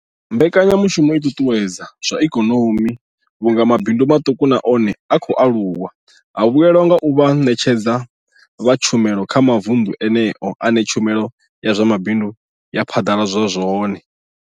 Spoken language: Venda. Mbekanya mushumo i ṱuṱuwedza zwa ikonomi vhunga mabindu maṱuku na one a khou aluwa a vhuelwa nga u vha vhaṋetshedzi vha tshumelo kha mavundu eneyo ane tshumelo ya zwa mabindu ya phaḓaladzwa hone.